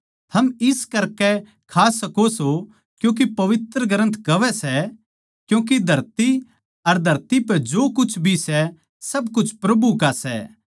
थम इस करकै खा सको सों क्यूँके पवित्र ग्रन्थ कहवै सै क्यूँके धरती अर धरती पै जो कुछ भी सै सब कुछ प्रभु का सै